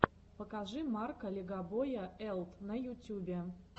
покажи марка легобоя элт на ютюбе